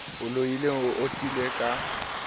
o loileng o itoile ka